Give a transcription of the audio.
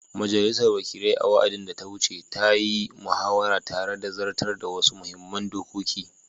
Majalisar Wakilai, a wa’adin da ta wuce, ta yi muhawara tare da zartar da wasu muhimman dokoki